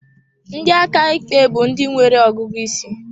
Ndị aka ikpe bụ ndị nwere ọgụgụ isi.